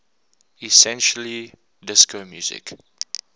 essentially disco music